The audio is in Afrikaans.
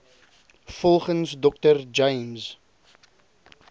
volgens dr james